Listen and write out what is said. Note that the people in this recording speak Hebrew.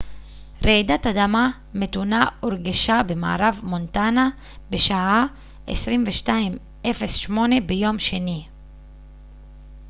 רעידת אדמה מתונה הורגשה במערב מונטנה בשעה 22:08 ביום שני